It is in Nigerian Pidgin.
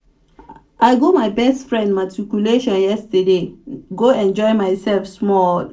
i go my best friend matriculation yesterday go enjoy myself small